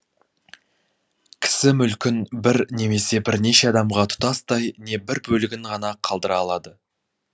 кісі мүлкін бір немесе бірнеше адамға тұтастай не бір бөлігін ғана қалдыра алады